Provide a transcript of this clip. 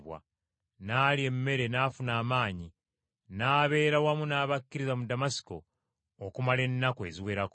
N’alya emmere n’afuna amaanyi. N’abeera wamu n’abakkiriza mu Damasiko okumala ennaku eziwerako.